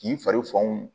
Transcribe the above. K'i fari fanw